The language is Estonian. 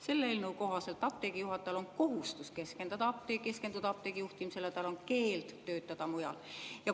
Selle eelnõu kohaselt on apteegi juhatajal kohustus keskenduda apteegi juhtimisele ja tal on keeld töötada mujal.